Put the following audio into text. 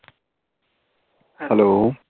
hello